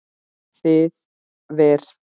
Þið verð